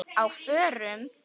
Á FÖRUM?